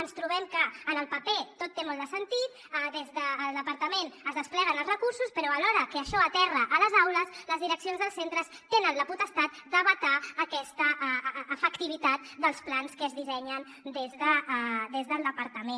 ens trobem que en el paper tot té molt de sentit des del departament es despleguen els recursos però a l’hora que això aterra a les aules les direccions dels centres tenen la potestat de vetar aquesta efectivitat dels plans que es dissenyen des del departament